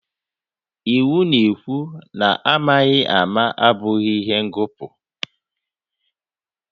Iwu na-ekwu na amaghị ama abụghị ihe ngọpụ